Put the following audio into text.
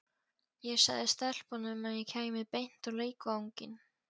Ég sagði stelpunum að ég kæmi beint á leikvanginn.